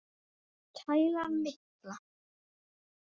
Kælan mikla.